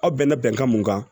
Aw bɛnna bɛnkan mun kan